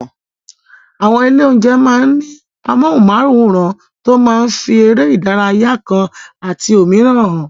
Àwọn ilé-oúnjẹ máa ń ní amóhùnmáwòràn tó máa ń fi eré ìdárayá kan àti òmíràn hàn.